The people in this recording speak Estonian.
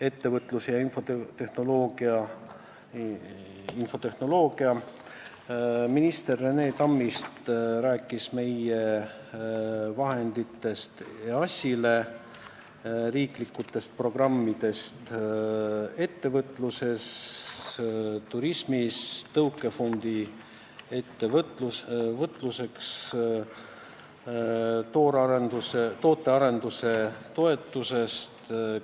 Ettevõtlus- ja infotehnoloogiaminister Rene Tammist rääkis vahenditest EAS-ile, riiklikest programmidest ettevõtluses, turismis, tõukefondist ettevõtluseks, tootearenduse toetusest,